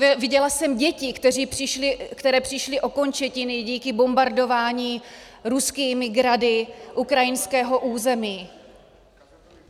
Viděla jsem děti, které přišly o končetiny díky bombardování ruskými grady ukrajinského území.